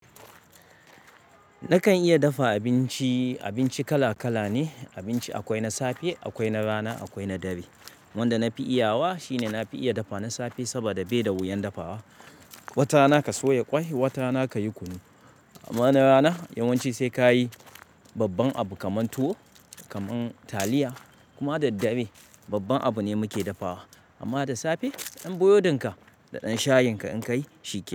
Nakan iya dafa abinci, abinci kala kala ne, abinci akwai na safe, akwai na rana, akwai na dare. Wanda na fi iyawa shine na fi iya dafa na safe saboda bai da wuyan dafawa. Wata rana ka soya kwai, wata rana ka yi kunu. Amma na rana yawanci sai ka yi babban abu kaman tuwo, kaman taliya. Kuma da dare babban abu ne muke dafawa. Amma da safe ɗan burodin ka da ɗan shayin ka in kayi shikenan.